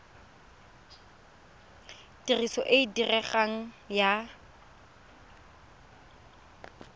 tiriso e e diregang ya